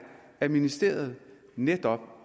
at ministeriet netop